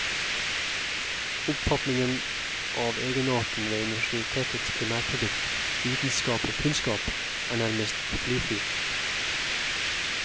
Oppfatningen av egenarten ved universitetets primærprodukt, vitenskapelig kunnskap, er nærmest i fri flyt.